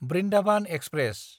Brindavan express